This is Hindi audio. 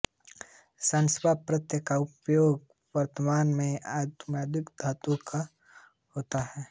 शानच् प्रत्यय का उपयोग वर्तमान में आत्मनेपदि धातुओं को होता है